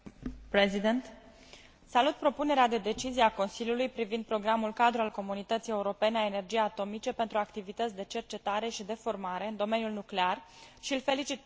Salut propunerea de decizie a Consiliului privind Programul cadru al Comunității Europene a Energiei Atomice pentru activități de cercetare și de formare în domeniul nuclear și îl felicit pe dl raportor Březina.